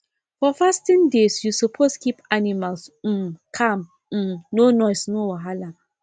for fasting days you suppose keep animals um calm um no noise no wahala